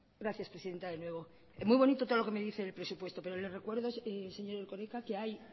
gracias presidenta de nuevo muy bonito todo lo que me dice del presupuesto pero le recuerdo señor erkoreka que hay